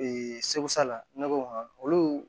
sebaasa la ne ko olu